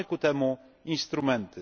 Mamy ku temu instrumenty.